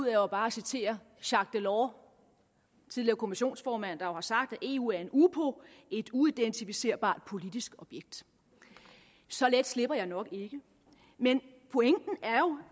er jo bare at citere jacques delors tidligere kommissionsformand der har sagt at eu er en upo et uidentificerbart politisk objekt så let slipper jeg nok ikke men pointen er jo